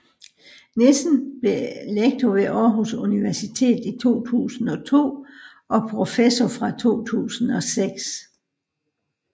Nissen blev lektor ved Aarhus Universitet i 2002 og professor fra 2006